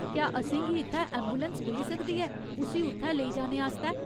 क्या असेंगी इत्थै ऐंबुलैंस मिली सकदी ऐ उस्सी उत्थै लेई जाने आस्तै?